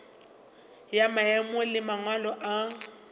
ya maemo le mangwalo a